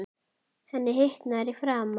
Henni hitnar í framan.